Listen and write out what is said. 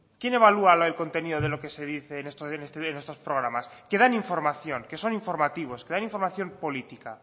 quién evalúa el contenido de lo que se dice en estos programas que dan información que son informativos que dan información política